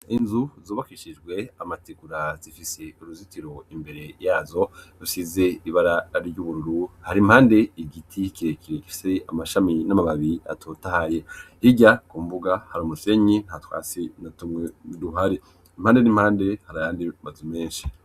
inzu zubakishijwe amategura zifise uruzitiro imbere yazo rusize ibara ry'ubururu hari impande igiti kirekire gifise amashami n'amababi atotahaye hirya kumbuga hari umusenyi nta twasti natumwe duhari impande n'impande hari ayandi mazu menshi.